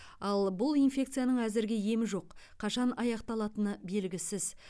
ал бұл инфекцияның әзірге емі жоқ қашан аяқталатыны белгісіз